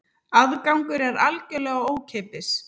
Aðgangur er algjörlega ókeypis